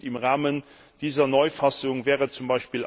Und im Rahmen dieser Neufassung wäre z.